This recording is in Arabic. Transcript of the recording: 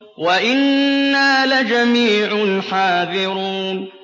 وَإِنَّا لَجَمِيعٌ حَاذِرُونَ